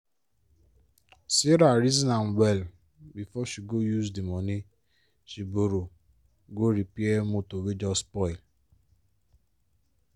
sarah reason am well before she go use di money she borrow go repair motor wey just spoil.